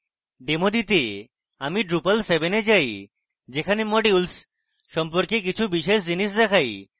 demo দিতে আমি drupal 7 এ যাই যেখানে modules সম্পর্কে কিছু বিশেষ জিনিস দেখাই